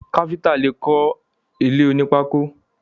Káfíntà lè kọ ilé oní pákò.